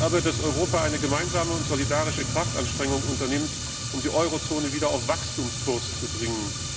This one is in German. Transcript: Zentral ist aber, dass Europa eine gemeinsame und solidarische Kraftanstrengung unternimmt, um die Eurozone wieder auf Wachstumskurs zu bringen.